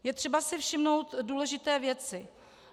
Je třeba si všimnout důležité věci.